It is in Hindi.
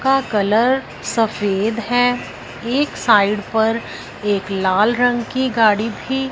का कलर सफेद है एक साइड पर एक लाल रंग की गाड़ी भी--